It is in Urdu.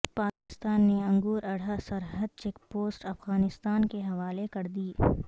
پاکستان نے انگور اڈہ سرحدی چیک پوسٹ افغانستان کے حوالے کر دی